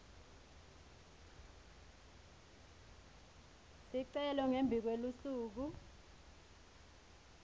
sicelo ngembi kwelusuku